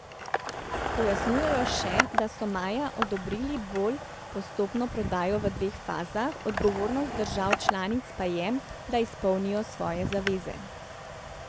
Pojasnjujejo še, da so maja odobrili bolj postopno prodajo v dveh fazah, odgovornost držav članic pa je, da izpolnijo svoje zaveze.